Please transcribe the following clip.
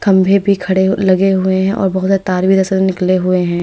खंभे भी खड़े लगे हुए हैं और बहोत निकले हुए हैं।